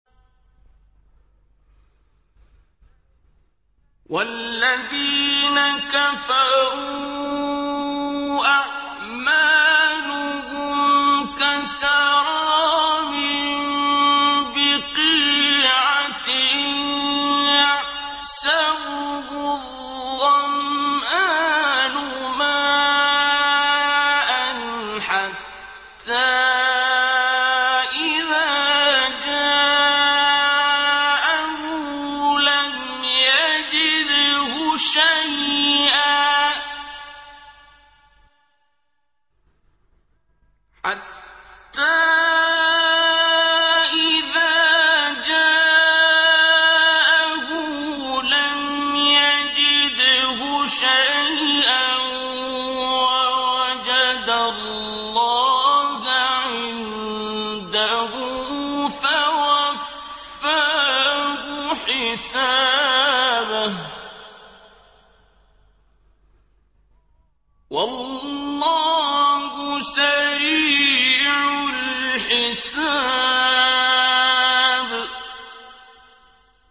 وَالَّذِينَ كَفَرُوا أَعْمَالُهُمْ كَسَرَابٍ بِقِيعَةٍ يَحْسَبُهُ الظَّمْآنُ مَاءً حَتَّىٰ إِذَا جَاءَهُ لَمْ يَجِدْهُ شَيْئًا وَوَجَدَ اللَّهَ عِندَهُ فَوَفَّاهُ حِسَابَهُ ۗ وَاللَّهُ سَرِيعُ الْحِسَابِ